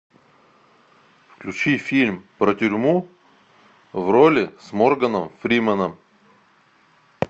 включи фильм про тюрьму в роли с морганом фриманом